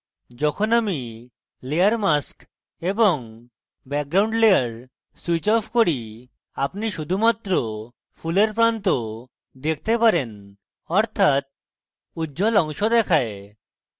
যখন আমি layer mask এবং background layer switch off করি আপনি শুধুমাত্র ফুলের প্রান্ত দেখতে পারেন অর্থাৎ উজ্জ্বল অংশ দেখায়